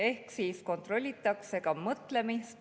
Ehk siis kontrollitakse ka mõtlemist.